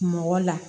Mɔgɔ la